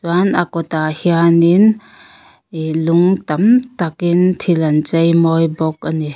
chuan a kawtah hianin lung tam takin thil an chei mawi bawk a ni.